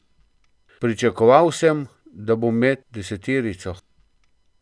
Pričakoval sem, da bom med deseterico.